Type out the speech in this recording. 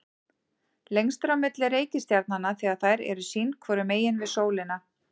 lengst er á milli reikistjarnanna þegar þær eru sín hvoru megin við sól